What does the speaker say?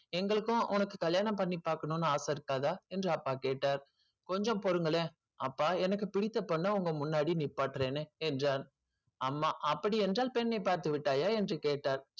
எங்களுக்கும் உனக்கு கல்யாணம் பண்ணி பார்க்கணும்னு ஆசை இருக்காதா என்று அப்பா கேட்டார் கொஞ்சம் பொறுங்களேன் அப்பா எனக்கு பிடித்த பொண்ண உங்க முன்னாடி நிப்பாட்டறேன்னு என்றான் அம்மா அப்படி என்றால் பெண்ணை பார்த்து விட்டாயா என்று கேட்டார்